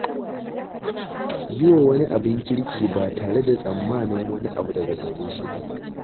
Yi wa wani abin kirki ba tare da tsammanin wani abu daga gare shi ba.